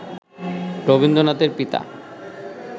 রবীন্দ্রনাথের পিতা